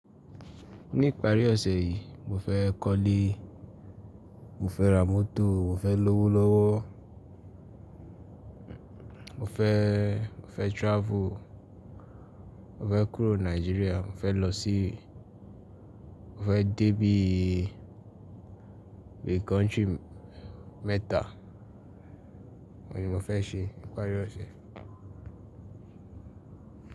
Ní ìparí ọ̀sẹ̀ yí, mo fẹ́ kọ́lé, mo fẹ́ ra mọ́tò, mo fẹ́ lówó lọ́wọ́, mo fẹ́, mo fẹ́ travel, mo fẹ́ kúrò Nigeria, mo fẹ́ lọ sí, mo fẹ́ dé bí i country mẹ́ta. Ó ni mo fẹ́ ṣe ní ìparí ọ̀sẹ̀.